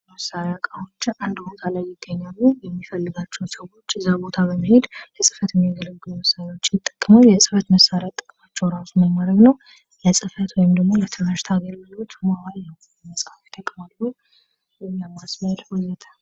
እቃዎች አንድ ቦታ ላይ ይገኛሉ የሚፈልጋቸውን ሰዎች እዛ ቦታ በመሄድ ለጽፈት የሚያገለግሉ መሳሪያዎችን ይጠቀማል የጽፈት መሣሪያ ጥቅማቸው እራሱ ምን ማድረግ ነው? ለጽፈት ወይም ደግሞ ለትምህርት አገልግሎት መዋል ነው መጽሐፍ ይጠቅማሉ።